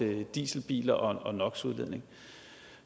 med dieselbiler og no